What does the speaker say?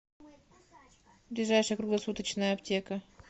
ближайшая круглосуточная аптека